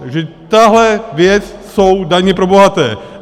Takže tahle věc jsou daně pro bohaté.